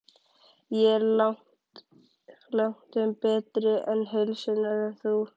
Ég er langtum betri til heilsunnar en þú.